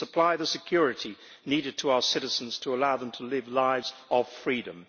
We must supply the security needed to our citizens to allow them to live lives of freedom.